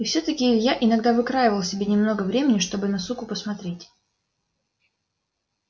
и всё-таки илья иногда выкраивал себе немного времени чтобы на суку посмотреть